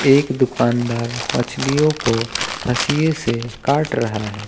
एक दुकानदार मछलियों को हंसीए से काट रहा है।